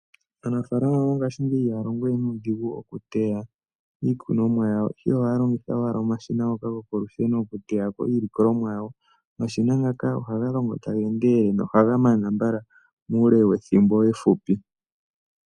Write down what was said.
Aanafalama mongashingeyi ihaya longo we nuudhigu moku teya iikunomwa yawo. Ohaya longitha owala omashina ngoka gokolusheno oku teyako iilikolomwa yawo. Omashina ngaka ohaga longo taga endelele noha ga mana mbala muule wethimbo efupi.